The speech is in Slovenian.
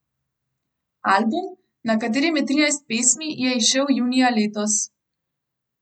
Album, na katerem je trinajst pesmi, je izšel junija letos.